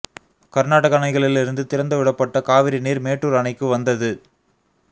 கர்நாடக அணைகளில் இருந்து திறந்து விடப்பட்ட காவிரிநீர் மேட்டூர் அணைக்கு வந்தது